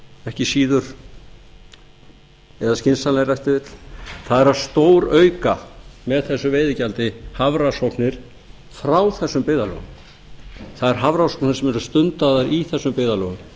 ekki síður eða skynsamlegra ef til vill að stórauka með þessu veiðigjaldi hafrannsóknir frá þessum byggðarlögum þær hafrannsóknir sem eru stundaðar víða frá þessum byggðarlögum